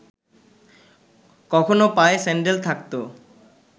কখনো পায়ে স্যান্ডেল থাকত